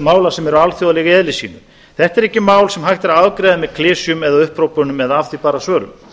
mála sem eru alþjóðleg í eðli sínu þetta eru ekki mál sem hægt er að afgreiða með klisjum eða upphrópunum eða af því bara svörum